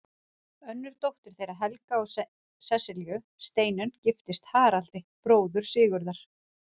Önnur dóttir þeirra Helga og Sesselju, Steinunn, giftist Haraldi, bróður Sigurðar.